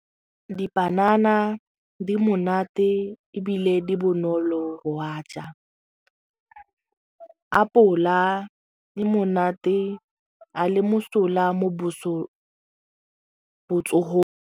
Dipanana di monate ebile di bonolo apola e monate a le mosola mo botsogong.